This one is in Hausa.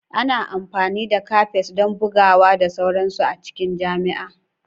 Ana amfani da cafes don bugawa da sauransu a cikin jami'a.